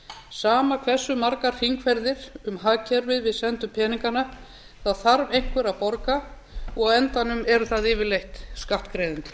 sama hversu margar hringferðir um hagkerfið við sendum peningana þá þarf einhver að borga og á endanum eru það yfirleitt skattgreiðendur